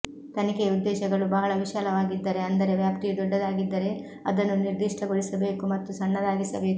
ತನಿಖೆಯ ಉದ್ದೇಶಗಳು ಬಹಳ ವಿಶಾಲವಾಗಿದ್ದರೆ ಅಂದರೆ ವ್ಯಾಪ್ತಿಯು ದೊಡ್ಡದಾಗಿದ್ದರೆ ಅದನ್ನು ನಿರ್ಧಿಷ್ಟಗೊಳಿಸಬೇಕು ಮತ್ತು ಸಣ್ಣದಾಗಿಸಬೇಕು